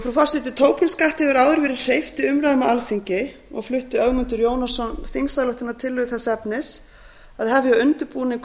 frú forseti tobin skatti hefur áður verið hreyft í umræðum á alþingi og flutti ögmundur jónasson þingsályktunartillögu þess efnis að hefja undirbúning